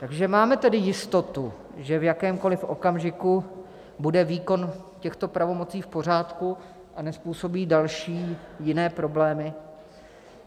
Takže máme tedy jistotu, že v jakémkoliv okamžiku bude výkon těchto pravomocí v pořádku a nezpůsobí další jiné problémy?